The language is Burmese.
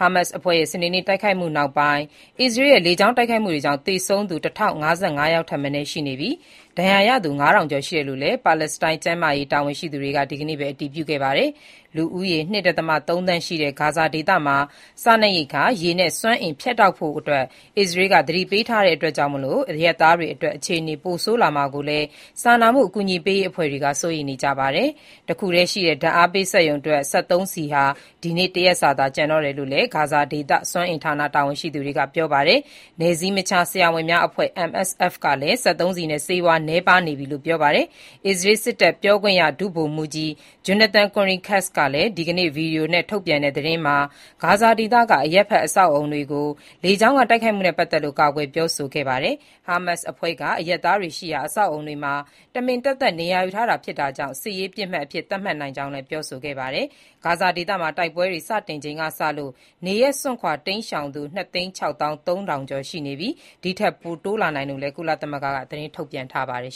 ဟာမက်စ်အဖွဲ့ရဲ့ စနေနေ့တိုက်ခိုက်မှုနောက်ပိုင်း အစ္စရေးရဲ့ လေကြောင်းတိုက်ခိုက်မှုတွေကြောင့် သေဆုံးသူ ၁,၀၅၅ ယောက်ထက်မနည်း ရှိနေပြီး၊ ဒဏ်ရာရသူ ၅,၀၀၀ ကျော် ရှိတယ်လို့လည်း ပါလက်စတိုင်း ကျန်းမာရေး တာဝန်ရှိသူတွေက ဒီကနေ့ပဲ အတည်ပြုခဲ့တာပါ။ လူဦးရေ ၂.၃ သန်းရှိတဲ့ ဂါဇာဒေသမှာ စားနပ်ရိက္ခာ၊ ရေနဲ့ စွမ်းအင် ဖြတ်တောက်ဖို့ အစ္စရေးလ်က သတိပေးထားတာကြောင့် အရပ်သားတွေအတွက် အခြေအနေတွေ ပိုဆိုးလာမှာကိုလည်း စာနာမှု အကူအညီပေးရေး အဖွဲ့တွေက စိုးရိမ်နေကြပါတယ်။ တခုတည်းရှိတဲ့ ဓာတ်အားပေး စက်ရုံအတွက် စက်သုံးဆီဟာ ဒီနေ့တရက်စာသာ ကျန်တော့တယ်လို့လည်း ဂါဇာဒေသ စွမ်းအင်ဌာန တာဝန်ရှိသူတွေက ပြောပါတယ်။ နယ်စည်းမခြား ဆရာဝန်များအဖွဲ့ (MSF) ကလည်း စက်သုံးဆီနဲ့ ဆေးဝါး နည်းပါးလာနေပြီလို့ ပြောပါတယ်။ အစ္စရေးစစ်တပ် ပြောခွင့်ရ ဒုဗိုလ်မှူးကြီး Jonathan Conricus က ဒီကနေ့ ဗွီဒီယိုနဲ့ သတင်းထုတ်ပြန်ရာမှာ ဂါဇာဒေသက အရပ်ဖက် အဆောက်အဦးတွေကို လေကြောင်းက တိုက်ခိုက်မှုနဲ့ ပတ်သက်လို့ ကာကွယ်ပြောဆိုခဲ့တာပါ။ ဟာမက်စ်အဖွဲ့က အရပ်သားတွေရှိရာ အဆောက်အဦးတွေမှာ တမင်သက်သက် နေရာယူထားတာ ဖြစ်တာကြောင့် စစ်ရေးပစ်မှတ်အဖြစ် သတ်မှတ်နိုင်ကြောင်းလည်း ပြောဆိုခဲ့ပါတယ်။ ဂါဇာဒေသမှာ တိုက်ပွဲတွေ စတင်ချိန်ကစလို့ နေရပ်စွန့်ခွာ တိမ်းရှောင်သူ ၂၆၃,၀၀၀ ကျော် ရှိနေပြီး၊ ဒီထက်ပိုတိုးလာနိုင်တယ်လို့လည်း ကုလသမဂ္ဂက သတင်းထုတ်ပြန်ထားပါတယ်